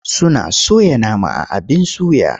Suna soya nama a abin suya.